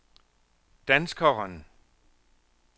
danskeren